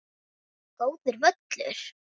Góður völlur.